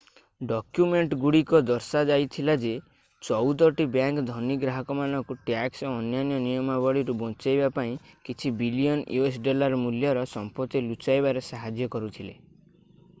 ଡକ୍ୟୁମେଣ୍ଟଗୁଡିକ ଦର୍ଶାଇଥିଲା ଯେ ଚଉଦଟି ବ୍ୟାଙ୍କ ଧନୀ ଗ୍ରାହକମାନଙ୍କୁ ଟ୍ୟାକ୍ସ ଓ ଅନ୍ୟାନ୍ୟ ନିୟମାବଳୀରୁ ବଞ୍ଚେଇବା ପାଇଁ କିଛି ବିଲିୟନ୍ us ଡଲାର ମୂଲ୍ୟର ସମ୍ପତ୍ତି ଲୁଚାଇବାରେ ସାହାଯ୍ୟ କରିଥିଲେ